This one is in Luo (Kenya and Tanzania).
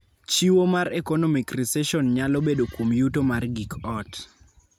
Chiwo mar economic recession nyalo bedo kuom yuto mar gik ot.